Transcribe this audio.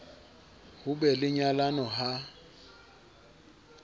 ho be le nyalano ha